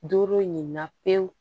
Doro ɲinna pewu